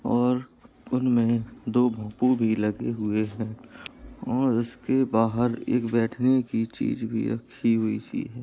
और उनमे दो भोपू भी लगे हुए हैं और उसके बाहर एक बैठने की चीज़ भी रखी हुई --